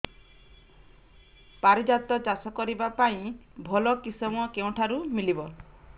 ପାରିଜାତ ଚାଷ କରିବା ପାଇଁ ଭଲ କିଶମ କେଉଁଠାରୁ ମିଳିବ